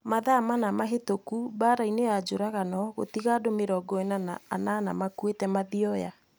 Mathaa mana mahĩtũku Mbaara nĩ njũragano gũtiga andũ mĩrongo ina na inana makuĩte Mathioya